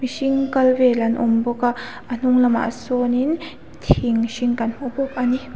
hring kal vel an awm bawk a a hnung lamah sawnin thing hring kan hmu bawk ani.